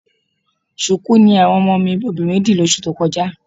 Ṣùkú ni àwọn ọmọ mi obìnrin dì lóṣù tó kọjá